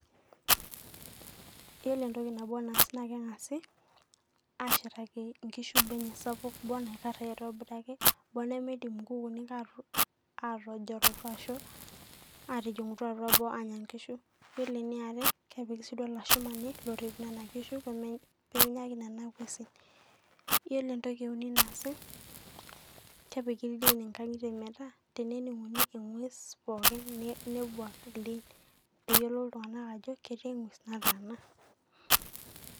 yiolo entoki nabo naas naa kengasi ashetaki nkishu boo enye sapuk ,boo naikara aitobiraki onimidim nkukunik atojolu atijingitu atua boo anya nkishu .yiolo eniare kepiki si duo olashumani lorrip nena kishu pemenya ake nena ngwesin .yiolo entoki euni naasi kepiki ildieni nkangitie metaa teneninguni engwes pookin nebuak ildien peyiolou iltunganak ajo ketii engwes nataana.